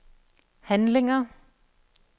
handlinger